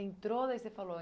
Entrou, daí você falou?